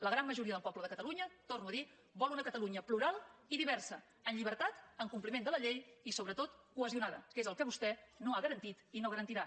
la gran majoria del poble de catalunya ho torno a dir vol una catalunya plural i diversa en llibertat en compliment de la llei i sobretot cohesionada que és el que vostè no ha garantit i no garantirà